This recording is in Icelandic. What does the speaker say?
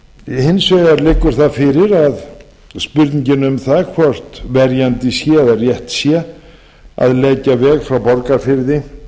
hins vegar liggur fyrir spurningin um það hvort verjandi sé eða rétt sé að leggja veg frá borgarfirði